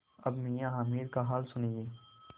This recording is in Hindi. अब मियाँ हामिद का हाल सुनिए